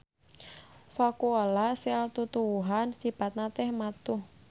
Vakuola sel tutuwuhan sipatna teh matuh.